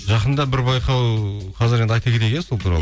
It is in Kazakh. жақында бір байқау қазір енді айта кетейік иә сол туралы